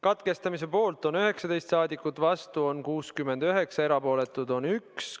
Katkestamise poolt on 19 rahvasaadikut, vastuolijaid on 69 ja erapooletuid 1.